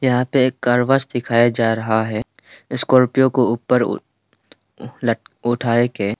यहां पे एक कार वॉश दिखाया जा रहा है स्कॉर्पियो को ऊपर लट उठाए के।